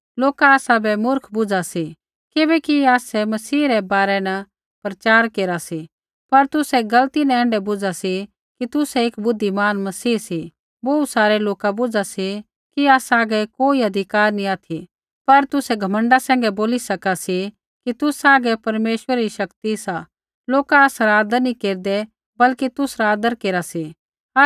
लोका आसाबै मूर्ख बुझा सी किबैकि आसै मसीह रै बारै न प्रचार केरा सी पर तुसै गलती न ऐण्ढै बुझा सी कि तुसै एक बुद्धिमान मसीह सी बोहू सारै लोका बुझा सी कि आसा हागै कोई अधिकार नैंई ऑथि पर तुसै घमण्डा सैंघै बोला सी कि तुसा हागै परमेश्वरा री शक्ति सा लोका आसरा आदर नैंई केरदै बल्कि तुसरा आदर केरा सी